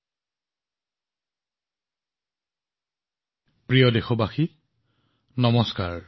মোৰ মৰমৰ দেশবাসীসকল নমস্কাৰ